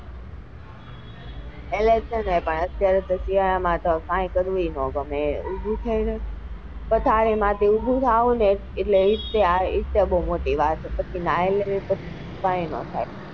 એટલે છે ને પથારી માંથી ઉભું થવું ને એજ મોટી વાત છે પછી નાઈ લઈએ એટલે પછી કઈ નાં થાય.